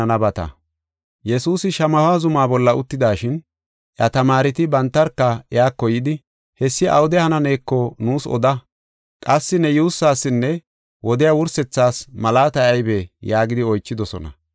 Yesuusi Shamaho zuma bolla uttidashin, iya tamaareti bantarka iyako yidi, “Hessi awude hananeeko nuus oda. Qassi ne yuussasinne wodiya wursethaas malaatay aybee?” yaagidi oychidosona.